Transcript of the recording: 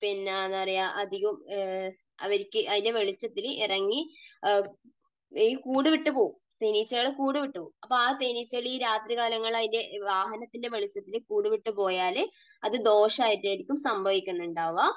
പിന്നെ എന്താ പറയുക, അധികവും അവരിക്ക് അതിൻറെ വെളിച്ചത്തിൽ ഇറങ്ങി ഈ കൂടു വിട്ടു പോകും. തേനീച്ചകൾ കൂടു വിട്ടു പോകും. അപ്പോൾ ഈ തേനീച്ചകൾ അതിൻറെ രാത്രികാലങ്ങളിൽ ഈ വാഹനത്തിൻറെ വെളിച്ചത്തിൽ കൂടുവിട്ടു പോയാൽ അത് ദോഷം ആയിട്ടായിരിക്കും സംഭവിക്കുന്നുണ്ടാവുക.